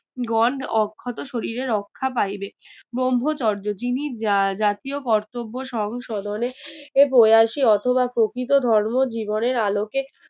গন অক্ষত শরীরের রক্ষা পাইবে ব্রহ্মচর্য যিনি আহ জাতীয় কর্তব্য সংশোধনে এ প্রয়াসী অথবা প্রকৃত ধর্ম জীবনের আলোকে